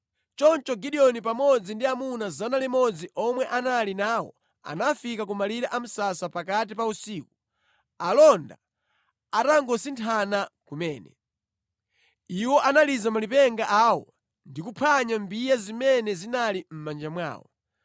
Choncho Gideoni pamodzi ndi amuna 100 omwe anali nawo anafika ku malire a msasa pakati pa usiku, alonda atangosinthana kumene. Iwo analiza malipenga awo ndi kuphwanya mbiya zimene zinali mʼmanja mwawo.